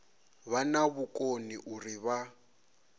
vha na vhukoni uri vha